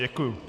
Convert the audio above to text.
Děkuji.